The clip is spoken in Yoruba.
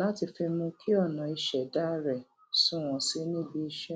láti fi mú kí ọnà ìṣẹdá rẹ sunwọn sí i níbi iṣẹ